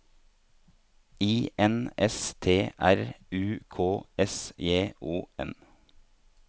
I N S T R U K S J O N